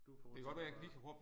Du fortsætter bare